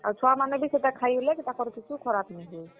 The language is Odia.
ଆଉ ଛୁଆ ମାନେ ବି ଖାଏଲେ ବି ତାଙ୍କର କିଛୁ ଖରାପ ନି ହୁଏ।